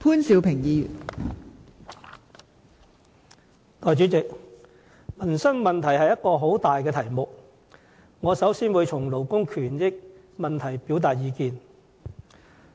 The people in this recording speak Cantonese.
代理主席，民生問題是個很大的題目，我先從勞工權益方面表達意見。